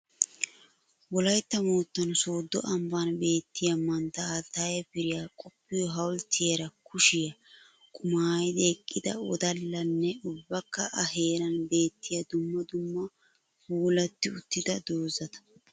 Wolaytta moottan soddo ambban beettiya mantta Alttaye Piriya qoppiyo hawulttiyara kushiya qumayidi eqqida wodallanne ubbakka A heeran beettiya dumma dumma puulatti uttida dozata.